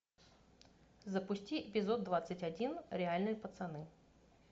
запусти эпизод двадцать один реальные пацаны